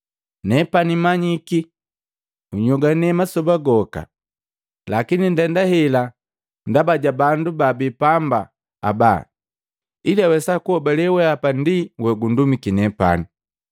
Nepani manyiki unyongwane masoba goka. Lakini ndenda hela ndaba ja bandu baabi paamba aba ili awesa kuhobale weapa ndi wogundumiki nepani.”